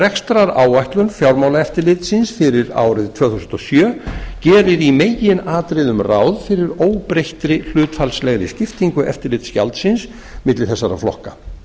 rekstraráætlun fjármálaeftirlitsins fyrir árið tvö þúsund og sjö gerir í meginatriðum ráð fyrir óbreyttri hlutfallslegri skiptingu eftirlitsgjaldsins milli þessara flokka